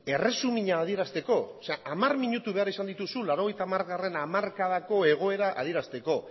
erresumina adierazteko hamar minutu behar izan dituzu laurogeita hamargarrena hamarkadako egoera adierazteko